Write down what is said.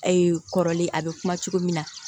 kɔrɔlen a bɛ kuma cogo min na